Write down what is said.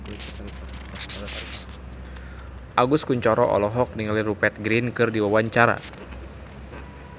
Agus Kuncoro olohok ningali Rupert Grin keur diwawancara